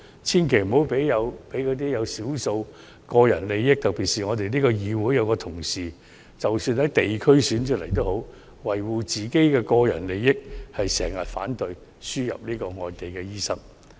千萬不要讓少數為了維護個人利益的人誤導，特別是我們議會內有一位議員，即使他從地區直選中勝出，但為了維護個人利益，經常反對輸入外地醫生。